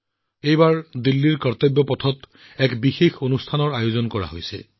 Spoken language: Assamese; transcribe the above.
ইয়াৰ উপৰিও দিল্লীত কৰ্তব্যৰ পথত এক অতি বিশেষ কাৰ্যসূচীৰ আয়োজন কৰা হৈছে